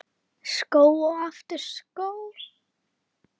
Skó og aftur skó.